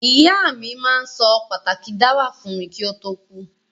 Ìyá mi ma n so pàtàki dáwà fun mi ki o to kú